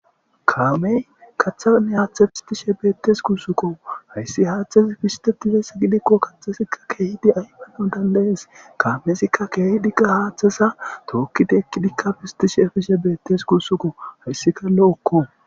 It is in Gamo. Kaamey kaththan haaththe pissitishe bettes guussuko hayssi haththezi pissitetizayssa giidikko kaththazi kehiidi ayffanawu dandda'es kaamezika kehidi qa haththeza tookidi eekidika pissitishe efffishe bettes guussuko hessika lo'okko.